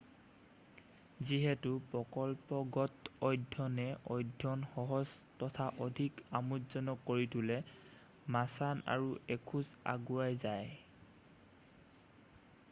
যিহেতু প্ৰকল্পগত অধ্যয়নে অধ্যয়ন সহজ তথা অধিক আমোদজনক কৰি তোলে মাচান আৰু এখোজ আগুৱাই যায়